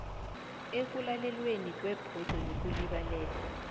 ekulalelweni kwebhodo yokulibalela